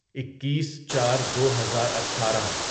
اکیس چار دوہزار اٹھارہ